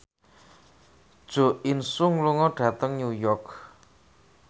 Jo In Sung lunga dhateng New York